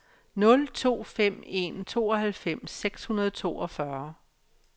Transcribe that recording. nul to fem en tooghalvfems seks hundrede og toogfyrre